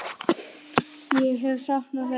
Ég hef saknað þess.